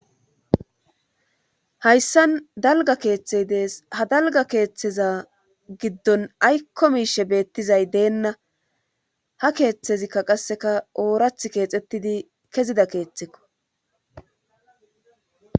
Hayssan dalga keeththey dees ha dalga keeththeza giddon aykko miishe beettizay deenna ha keeththezikka qasseka oorath keexettidi kezida keeththekko